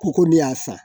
Ko ko ne y'a san